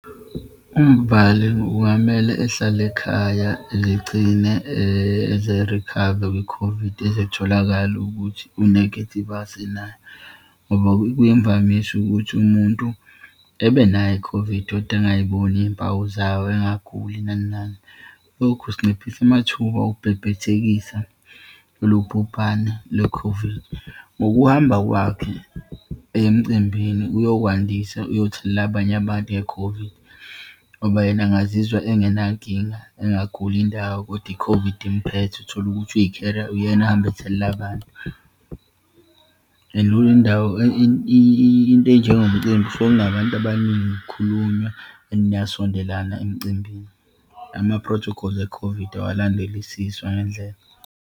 UMbali kwamela ehlale ekhaya egcine eze-recover kwi-COVID ezetholakale ukuthi u-negative, azi naye. Ngoba kuyimvamisa ukuthi umuntu ebenayo i-COVID kodwa engayiboni iyimpawu zayo, engaguli nani nani. Lokhu sinciphisa amathuba ukubhebhethekisa lolu bhubhane le-COVID. Ngokuhamba kwakhe eye emcimbini uyokwandisa, uyothelela abanye abantu nge-COVID. Ngoba yena angazizwa engenankinga, engaguli indawo, kodwa i-COVID imphethe, utholukuthi uyi-carrier, uyena ahambe ethelela abantu. And indawo, into enjengomcimbi kusuke kunabantu abaningi, kukhulunywa and niyasondelana emcimbini. Ama-protocols e-COVID awalandelisiswa ngendlela.